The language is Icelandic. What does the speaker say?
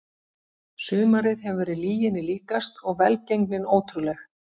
Sumarið hefur verið lyginni líkast og velgengnin ótrúleg.